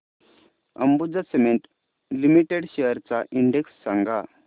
Ambuja cement limited shares चा index सांगा